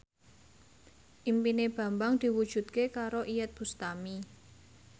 impine Bambang diwujudke karo Iyeth Bustami